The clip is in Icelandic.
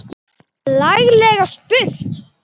Laglega spurt!